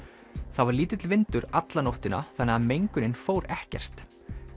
það var lítill vindur alla nóttina þannig að mengunin fór ekkert